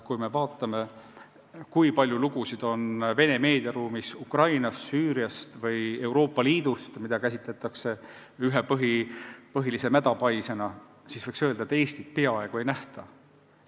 Kui me vaatame, kui palju lugusid on Vene meediaruumis Ukrainast, Süüriast ja Euroopa Liidust, mida käsitatakse ühe põhilise mädapaisena, siis võiks öelda, et Eestit peaaegu ei nähta.